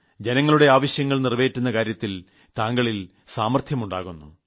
ജനങ്ങളുടെ ആവശ്യങ്ങൾ നിറവേറ്റുന്ന കാര്യത്തിൽ താങ്കളിൽ സാമർത്ഥ്യമുണ്ടാകുന്നു